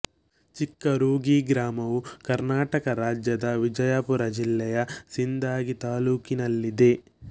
ಚಿಕ್ಕ ರೂಗಿ ಗ್ರಾಮವು ಕರ್ನಾಟಕ ರಾಜ್ಯದ ವಿಜಯಪುರ ಜಿಲ್ಲೆಯ ಸಿಂದಗಿ ತಾಲ್ಲೂಕಿನಲ್ಲಿದೆ